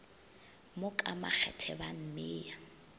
mo ka makgethe ba mmea